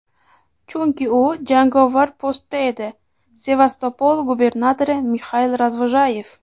chunki u jangovar postda edi – Sevastopol gubernatori Mixail Razvojayev.